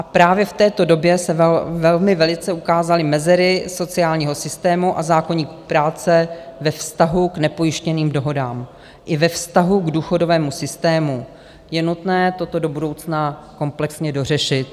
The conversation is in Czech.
A právě v této době se velmi velice ukázaly mezery sociálního systému a zákoník práce ve vztahu k nepojištěným dohodám i ve vztahu k důchodovému systému je nutné toto do budoucna komplexně dořešit.